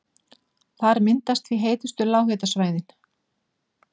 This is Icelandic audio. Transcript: Þar myndast því heitustu lághitasvæðin.